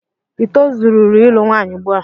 i tozuru ịlụ nwanyị ugbua?